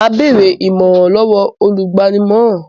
Mà á bèrè ìmọ̀ràn lọ́wọ́ olùgbaninímọ̀ràn.